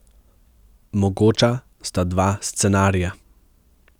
Mogoča sta dva scenarija.